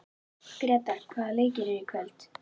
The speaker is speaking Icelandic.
Gretar, hvaða leikir eru í kvöld?